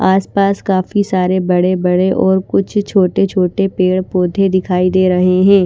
आस पास काफी सारे बड़े बड़े और कुछ छोटे छोटे पेड़ पौधे दिखाई दे रहे है।